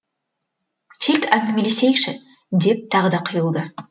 тек әңгімелесейікші деп тағы да қиылды